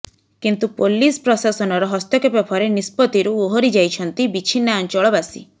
କିନ୍ତୁ ପୋଲିସ ପ୍ରଶାସନର ହସ୍ତକ୍ଷେପ ପରେ ନିଷ୍ପତିରୁ ଓହରି ଯାଇଛନ୍ତି ବିଛିନ୍ନାଞ୍ଚଳବାସୀ